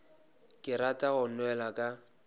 ke rata go nwela ka